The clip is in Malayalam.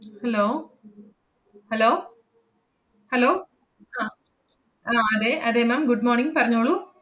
hello hello hello അഹ് ആഹ് അതെ അതെ ma'am good morning പറഞ്ഞോളൂ.